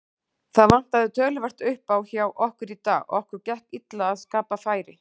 Það vantaði töluvert uppá hjá okkur í dag, okkur gekk illa að skapa færi.